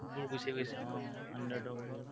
গুচি গৈছে অ underdog বোৰ